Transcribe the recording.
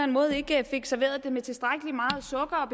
måde ikke fik serveret det med tilstrækkelig meget sukker